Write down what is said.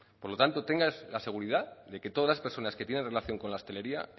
por lo tanto tenga la seguridad de que todas las personas que tienen relación con la hostelería